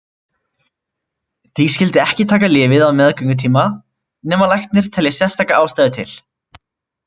Því skyldi ekki taka lyfið á meðgöngutíma nema læknir telji sérstaka ástæðu til.